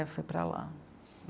fui para lá.